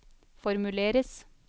formuleres